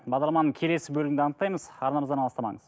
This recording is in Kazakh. бағдарламаның келесі бөлімінде анықтаймыз арнамыздан алыстамаңыз